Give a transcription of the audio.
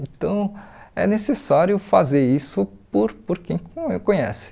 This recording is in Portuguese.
Então, é necessário fazer isso por por quem co conhece.